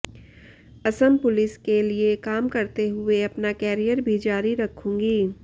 Assam police के लिये काम करते हुए अपना कैरियर भी जारी रखूंगी